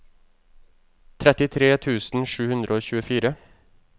trettitre tusen sju hundre og tjuefire